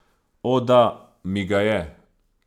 O, da, mi ga je.